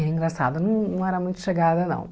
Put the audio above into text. Era engraçado, não não era muito chegada, não.